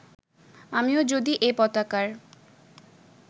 আমিও যদি এ পতাকার